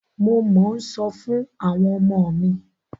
Mo mọ́ ń sọ fún àwọn ọmọ mi.